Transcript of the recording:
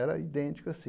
Era idêntico assim.